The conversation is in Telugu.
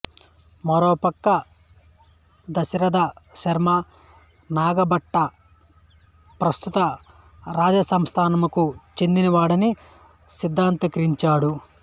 మరోవైపు దశరథ శర్మ నాగభట ప్రస్తుత రాజస్థానుకు చెందినవాడని సిద్ధాంతీకరించాడు